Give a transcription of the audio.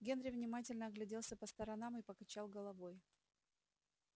генри внимательно огляделся по сторонам и покачал головой